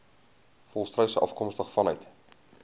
volstruise afkomstig vanuit